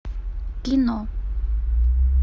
кино